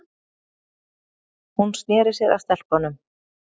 Hún sneri sér að stelpunum.